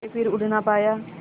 के फिर उड़ ना पाया